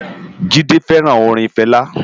Jide fèrán órin Fela